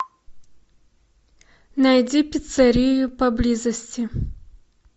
найди пиццерию поблизости